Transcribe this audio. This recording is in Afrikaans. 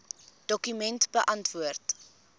dokument beantwoord